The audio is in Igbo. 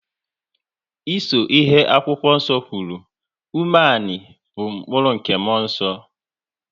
Ịso ihe akwụkwọ nso kwuru, umeani bụ mkpụrụ nke muonso